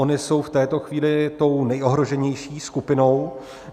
Ony jsou v této chvíli tou nejohroženější skupinou.